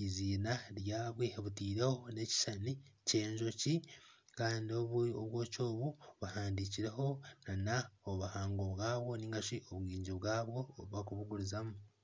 eiziina rwabwe butiireho na ekushushani ky'enjoki kandi obwoki obu buhandikireho na obuhango bwabo ningashi obwingi bwabo obu bakubugurizamu.